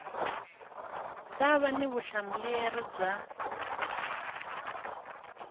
ta va na vutihlamuleri bya